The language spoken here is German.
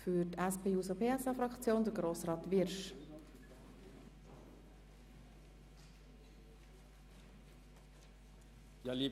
Für die SP-JUSO-PSA-Fraktion hat Grossrat Wyrsch das Wort.